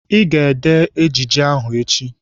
Ị ga-ede ejije ahụ echi!